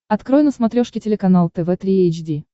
открой на смотрешке телеканал тв три эйч ди